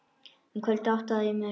Um kvöldið áttaði ég mig.